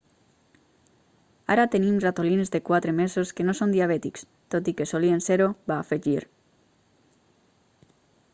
ara tenim ratolins de quatre mesos que no són diabètics tot i que solien ser-ho va afegir